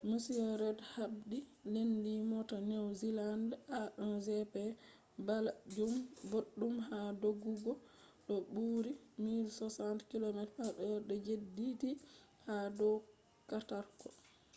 mr reid habdi laanyi moota new zealand’s a1gp balajum boddum haa doggugo ko buurii 160km/h de jediidi ha dow katarko